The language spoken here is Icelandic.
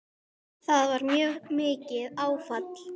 Það var mjög mikið áfall.